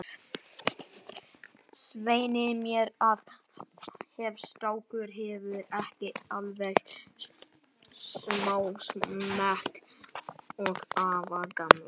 Svei mér þá, ef strákurinn hefur ekki alveg sama smekk og afi gamli.